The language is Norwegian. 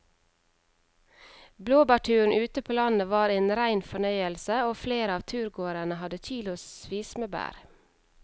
Blåbærturen ute på landet var en rein fornøyelse og flere av turgåerene hadde kilosvis med bær.